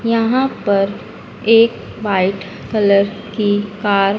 यहां पर एक वाइट कलर की कार --